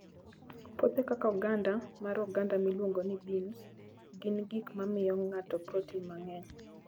Puothe kaka oganda mar oganda miluongo ni beans, gin gik ma miyo ng'ato protein mang'eny.